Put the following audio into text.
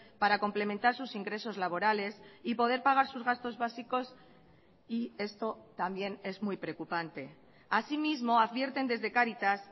para complementar sus ingresos laborales y poder pagar sus gastos básicos y esto también es muy preocupante asimismo advierten desde cáritas